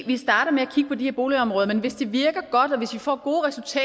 vi starter med at kigge på de her boligområder men hvis det virker godt og hvis vi får